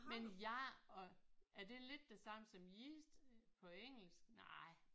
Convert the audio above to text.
Men gær og er det lidt det samme som yeast på engelsk? Nej